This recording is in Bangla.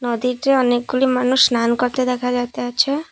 নদীতে অনেকগুলি মানুষ স্নান করতে দেখা যাইতাছে।